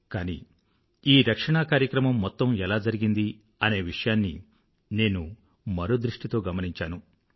కానీ ఈ రక్షణా కార్యక్రమం మొత్తం ఎలా జరిగింది అనే విషయాన్ని నేను మరో దృష్టితో గమనించాను